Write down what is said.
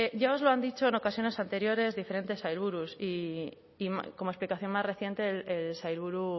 ya os lo han dicho en ocasiones anteriores diferentes sailburus y como explicación más reciente el sailburu